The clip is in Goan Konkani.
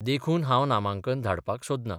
देखून हांव नामांकन धाडपाक सोदना.